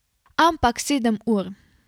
Ampak sedem ur.